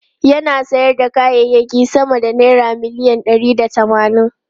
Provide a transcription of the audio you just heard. Yana sayar da kayayyaki sama da naira miliyan ɗari da tamanin.